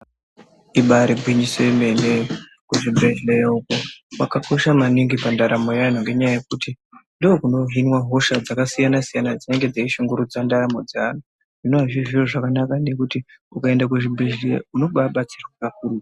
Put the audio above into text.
Ibari gwinyiso yemene kuzvibhehleya uku kwakakosha maningi pandaramo yeantu ngenyaya yekuti ndokunohinwa hosha dzakasiyana siyana dzinenge dzeishungurudza ndaramo dzeantu zvinowa zviri zviro zvakanaka nekuti ukaenda kuzvibhedhleya unobabatsiraa kakurutu.